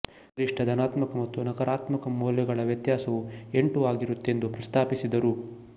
ಗರಿಷ್ಟ ಧನಾತ್ಮಕ ಮತ್ತು ನಕಾರಾತ್ಮಕ ಮೌಲ್ಯಗಳ ವ್ಯತ್ಯಾಸವು ಎಂಟು ಆಗಿರುತ್ತದೆಂದು ಪ್ರಸ್ತಾಪಿಸಿದರು